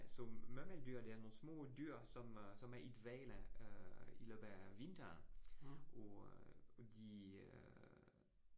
Så murmeldyr, det er nogle små dyr, som øh som er i dvale øh i løbet af vinteren og og de øh